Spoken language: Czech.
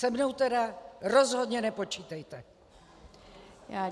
Se mnou tedy rozhodně nepočítejte!